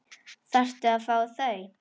Þarftu að fá þau?